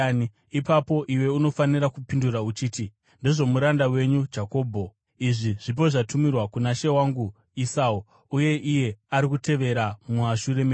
ipapo iwe unofanira kupindura uchiti, ‘Ndezvomuranda wenyu Jakobho. Izvi zvipo zvatumirwa kuna she wangu Esau, uye iye ari kutevera mumashure medu.’ ”